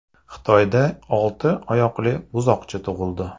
Xitoyda olti oyoqli buzoqcha tug‘ildi .